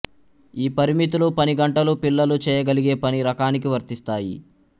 ఈ పరిమితులు పని గంటలు పిల్లలు చేయగలిగే పని రకానికి వర్తిస్తాయి